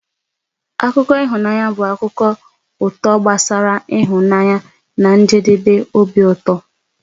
Akụkọ ịhụnanya bụ akụkọ ụtọ gbasara ịhụnanya na njedebe obi ụtọ.